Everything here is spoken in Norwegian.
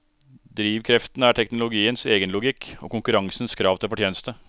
Drivkreftene er teknologiens egenlogikk, og konkurransens krav til fortjeneste.